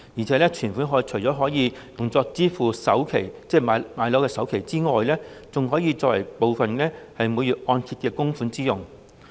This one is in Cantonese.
再者，存款除了可以用作支付置業的首期之外，部分更可以作為每月按揭供款之用。